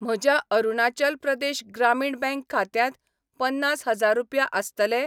म्हज्या अरुणाचल प्रदेश ग्रामीण बँक खात्यांत पन्नास हजार रुपया आसतले ?